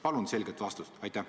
Palun selget vastust!